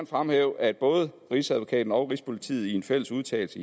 fremhæve at både rigsadvokaten og rigspolitiet i en fælles udtalelse